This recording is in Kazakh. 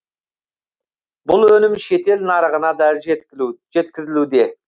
бұл өнім шетел нарығына да жеткізілуде